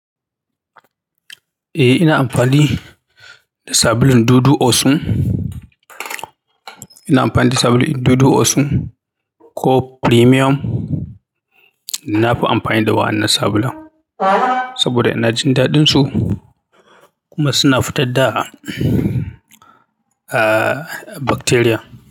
Eh, ina amfani da sabulun Dudu Osun. Ina amfani da sabulun Dudu Osun ko Premium. Nafi amfani da waɗannan sabulun saboda ina jin daɗinsu kuma suna fitar da ah, bacteria.